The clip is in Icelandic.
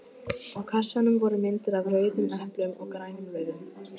Á kassanum voru myndir af rauðum eplum og grænum laufum.